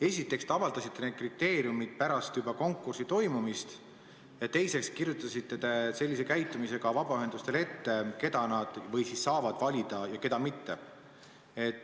Esiteks, te avaldasite need kriteeriumid pärast konkursi toimumist ja teiseks, te kirjutasite sellise käitumisega vabaühendustele ette, keda nad saavad valida ja keda mitte.